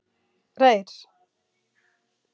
Reyr